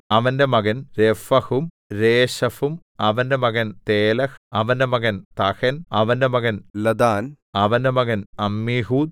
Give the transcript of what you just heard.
അവന്റെ മകൻ രേഫഹും രേശെഫും അവന്റെ മകൻ തേലഹ് അവന്റെ മകൻ തഹൻ അവന്റെ മകൻ ലദാൻ അവന്റെ മകൻ അമ്മീഹൂദ്